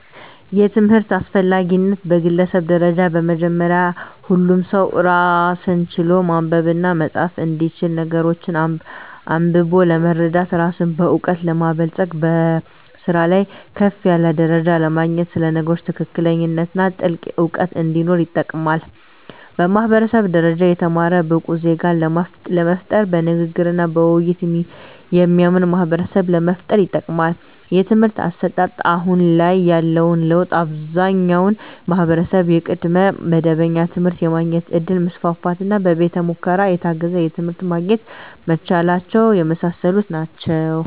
የትምህርት አስፈላጊነት በግለሰብ ደረጃ በመጀመሪያ ሁሉም ሰው ራስን ችሎ ማንበብና መፃፍ እንዲችል ነገሮችን አንብቦ ለመረዳት ራስን በእውቀት ለማበልፀግ በስራ ላይ ከፍ ያለ ደረጃ ለማግኘት ስለ ነገሮች ትክክለኛነትና ጥልቅ እውቀት እንዲኖር ይጠቅማል። በማህበረሰብ ደረጃ የተማረ ብቁ ዜጋን ለመፍጠር በንግግርና በውይይት የሚያምን ማህበረሰብን ለመፍጠር ይጠቅማል። የትምህርት አሰጣጥ አሁን ላይ ያለው ለውጥ አብዛኛው ማህበረሰብ የቅድመ መደበኛ ትምህርት የማግኘት እድል መስፋፋትና በቤተ ሙከራ የታገዘ ትምህርት ማግኘት መቻላቸው የመሳሰሉት ናቸው።